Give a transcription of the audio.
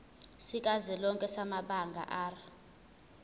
sikazwelonke samabanga r